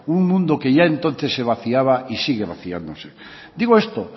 un mundo que ya entonces se vaciaba y sigue vaciándose digo esto